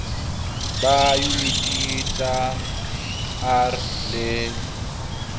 ba diyuniti tsa r le